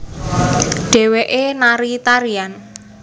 Dhéwéké nari tarian